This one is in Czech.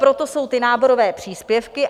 Proto jsou ty náborové příspěvky.